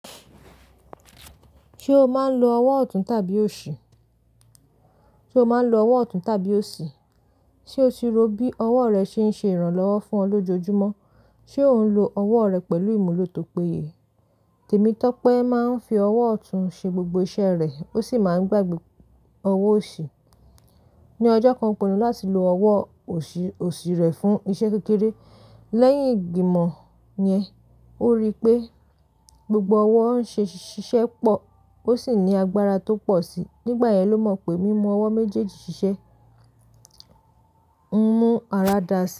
Ṣé o máa ń lo ọwọ́ ọ̀tún tàbí òsì? Sé o máa ń lo ọwọ́ ọ̀tún tàbí òsì. Ṣé o ti rò bí ọwọ́ rẹ ṣe ń ṣe ìrànlọ́wọ́ fún ọ lójoojúmọ́? Ṣé ò ń lo ọwọ́ rẹ pẹ̀lú ìmúlò tó péye? Tèmítọ́pẹ́ máa ń fi ọwọ́ ọ̀tún ṣe gbogbo iṣẹ́ rẹ̀, ó sì máa ń gbàgbé ọwọ́ òsì. Ni ọjọ́ kan, ó pinnu láti lo ọwọ́ òsì rẹ̀ fún iṣẹ́ kékeré. Lẹ́yìn ìgbìmọ̀ yẹn, ó rí i pé gbogbo ọwọ́ ń ṣe ṣiṣẹ́ pọ̀, ó sì ní agbára tó pọ̀ síi. Nígbà yẹn ló mọ̀ pé mímú ọwọ́ méjèèjì ṣiṣẹ́ ń mú ara dáa si.